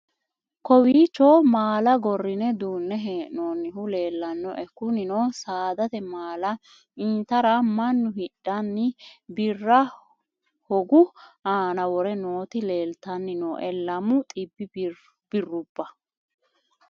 kowiicho maala gorrine duunne hee'noonnihu leellannoe kunino saadate maala intara mannu hidhanni birra hogu aana wore nooti leeltanni nooe lamu xibbi birrubba